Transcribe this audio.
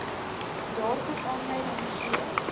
daartoe aanleiding gee